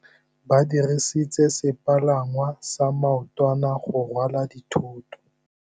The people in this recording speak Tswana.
Ba dirisitse sepalangwasa maotwana go rwala dithôtô.